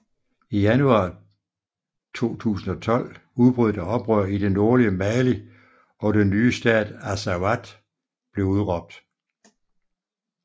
I januar 2012 udbrød der et oprør i det nordlige Mali og den nye stat Azawad blev udråbt